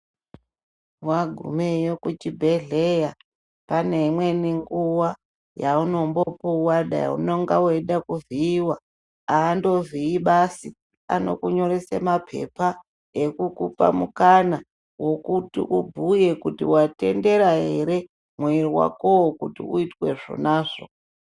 Wagumeyo kuchibhehleya pane imweni nguwa yaunombopuwa dai unonga weida kuvhiiwa andovhiyibasi. Anonyoresa mapepa ekukupa mukana wokuti ubhuye kuti watendera ere kuti mwiri wakowo uitwe zvonazvo.